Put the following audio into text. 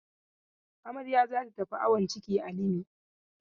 Amarya za ta tafi awon ciki a Limi.